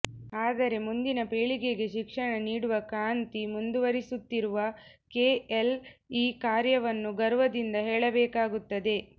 ಆದರೆ ಮುಂದಿನ ಪೀಳಿಗೆಗೆ ಶಿಕ್ಷಣ ನೀಡುವ ಕ್ರಾಂತಿ ಮುಂದುವರಿಸುತ್ತಿರುವ ಕೆಎಲ್ಇ ಕಾರ್ಯವನ್ನು ಗರ್ವದಿಂದ ಹೇಳಬೇಕಾಗುತ್ತದೆ